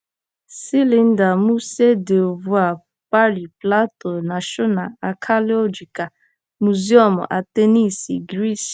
Silinda: Musée du Louvre, Pari; Plato: Nashọna Akiolojikal Mụzịọmụ, Atensi, Giriisi.